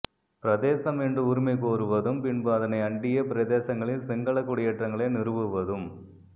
பிரதேசம் என்று உரிமை கோருவதும் பின்பு அதனை அண்டிய பிரதேசங்களில் சிங்கள குடியேற்றங்களை நிறுவுவதும்